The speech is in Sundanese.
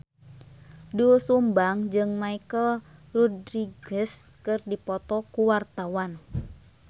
Doel Sumbang jeung Michelle Rodriguez keur dipoto ku wartawan